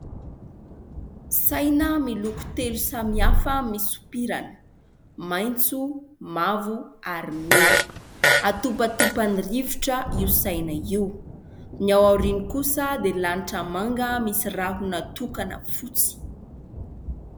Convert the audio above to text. Saina miloko telo samihafa misopirana : maitso, mavo ary mena. Atopatopan'ny rivotra io saina io. Ny ao aoriany kosa dia lanitra manga misy rahona tokana fotsy.